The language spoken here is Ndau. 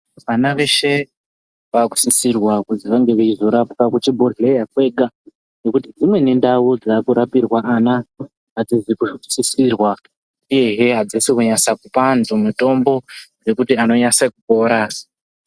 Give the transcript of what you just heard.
Vana veshe vaakusisirwa kuzi vange veirapirwa kuchibhehleya kwega nokuti dzimweni ndau dzaakurapirwa ana hadzisi kusisirwa uyehe hadzisi kunyasa kupa antu mitombo yekuti anonyase kupora.